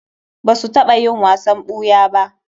Ba su taɓa yin wasan ɓuya ba.